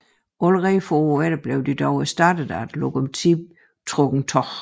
Allerede få år efter blev de dog erstattet af lokomotivtrukne tog